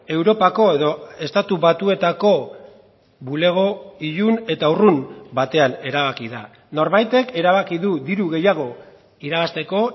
europako edo estatu batuetako bulego ilun eta urrun batean erabaki da norbaitek erabaki du diru gehiago irabazteko